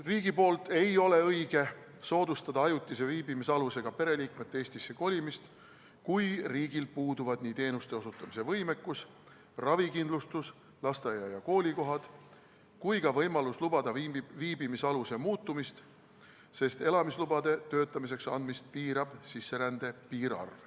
Riigil ei ole õige soodustada ajutise viibimisalusega pereliikmete Eestisse kolimist, kui riigil puuduvad nii teenuste osutamise ja ravikindlustuse andmise võimekus, lasteaia- ja koolikohad kui ka võimalus lubada viibimisaluse muutumist, sest töötamiseks elamislubade andmist piirab sisserände piirarv.